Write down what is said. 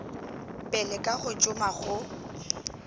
pele ka go šoma go